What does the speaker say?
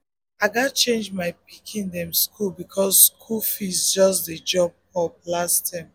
i um gats change my pikin pikin dem school because school um fees just jump up um last term.